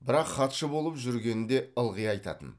бірақ хатшы болып жүргенінде ылғи айтатын